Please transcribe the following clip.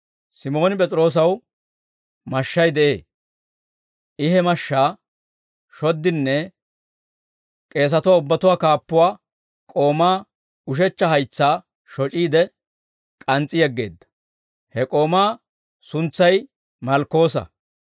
Simooni P'es'iroosaw mashshay de'ee; I he mashshaa shoddinne k'eesatuwaa ubbatuwaa kaappuwaa k'oomaa ushechcha haytsaa shoc'iide, k'ans's'i yeggeedda. He k'oomaa suntsay Malkkoosa.